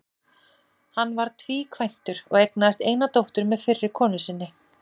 Hann var tvíkvæntur og eignaðist eina dóttur með fyrri konu sinni.